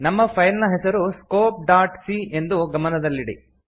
ನಮ್ಮ ಫೈಲ್ ನ ಹೆಸರು ಸ್ಕೋಪ್ ಡಾಟ್ ಸಿ ಎಂದು ಗಮನದಲ್ಲಿಡಿ